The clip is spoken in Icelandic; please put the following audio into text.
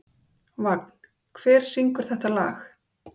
Vagn, hver syngur þetta lag?